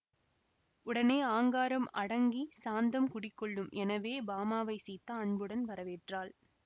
உடனே ஆங்காரம் அடங்கிச் சாந்தம் குடி கொள்ளும் எனவே பாமாவைச் சீதா அன்புடன் வரவேற்றாள்